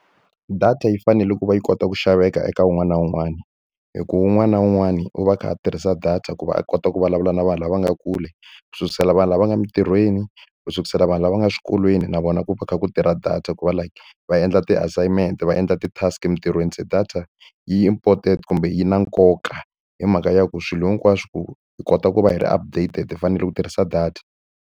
Data yi fanele ku va yi kota ku xaveka eka wun'wana na wun'wana, hikuva wun'wana na wun'wana u va a kha a tirhisa data ku va a kota ku vulavula na vanhu lava nga kule. Ku sukela ka vanhu lava nga emintirhweni, ku sukela ka vanhu lava nga swikolweni, na vona na ku va ku kha ku tirha data ku va like va endla ti-assignment, va endla ti-task emitirhweni. Se data yi important kumbe yi na nkoka, hi mhaka ya ku swilo hinkwaswo ku hi kota ku va hi ri updated, hi fanele ku tirhisa data.